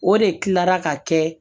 O de kila la ka kɛ